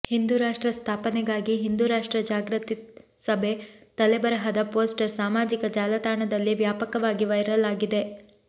ಹಿಂದೂ ರಾಷ್ಟ್ರ ಸ್ಥಾಪನೆಗಾಗಿ ಹಿಂದೂ ರಾಷ್ಟ್ರ ಜಾಗೃತಿ ಸಭೆ ತಲೆಬರಹದ ಪೋಸ್ಟರ್ ಸಾಮಾಜಿಕ ಜಾಲತಾಣದಲ್ಲಿ ವ್ಯಾಪಕವಾಗಿ ವೈರಲ್ ಆಗಿದೆ